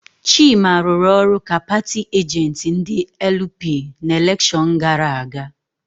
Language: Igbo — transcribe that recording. Chima rụrụ ọrụ ka paatị ajentị ndị LP na elekshon gara aga.